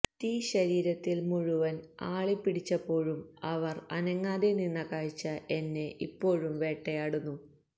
തീ ശരീരത്തില് മുഴുവന് ആളിപ്പിടിച്ചപ്പോഴും അവര് അനങ്ങാതെ നിന്ന കാഴ്ച എന്നെ ഇപ്പോഴും വേട്ടയാടുന്നു